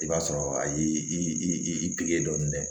I b'a sɔrɔ a yi i pi dɔɔni dɛ